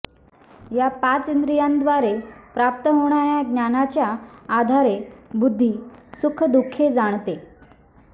या पाच इंद्रियांद्वारे प्राप्त होणाऱ्या ज्ञानाच्या आधारे बुद्धी सुखदुःखे जाणते